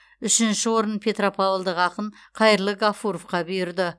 үшінші орын петропавлдық ақын қайырлы ғафуровқа бұйырды